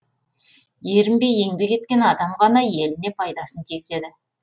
ерінбей еңбек еткен адам ғана еліне пайдасын тигізеді